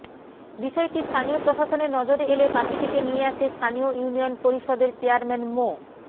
বিষয়টি স্থানীয় প্রশাসনের নজরে এলে পাখিটিকে নিয়ে আসে স্থানীয় ইউনিয়ন পরিষদের চেয়ারম্যান মো